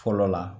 Fɔlɔ la